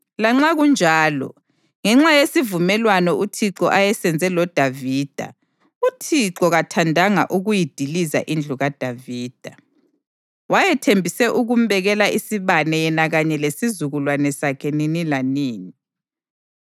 Lanxa kunjalo, ngenxa yesivumelwano uThixo ayesenze loDavida, uThixo kathandanga ukuyidiliza indlu kaDavida. Wayethembise ukumbekela isibane yena kanye lesizukulwane sakhe nini lanini.